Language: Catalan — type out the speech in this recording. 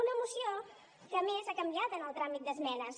una moció que a més ha canviat en el tràmit d’esmenes